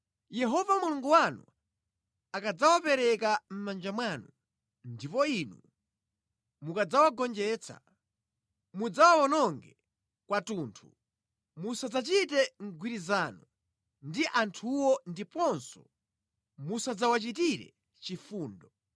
Yehova Mulungu wanu akadzawapereka mʼmanja mwanu, ndipo inu mukadzawagonjetsa, mudzawawononge kwathunthu. Musadzachite mgwirizano ndi anthuwo ndiponso musadzawachitire chifundo.